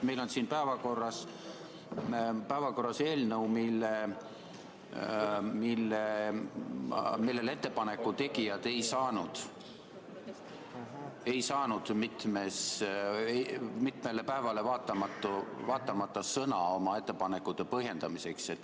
Meil on päevakorras eelnõu, mille kohta ettepaneku tegijad ei saanud mitmele päevale vaatamata sõna oma ettepanekute põhjendamiseks.